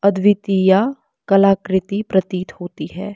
अद्वितीया कलाकृति प्रतीत होती है।